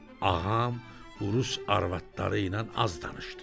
Ağam Urus arvadları ilə az danışdı.